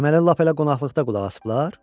Deməli, lap elə qonaqlıqda qulaqasıblar?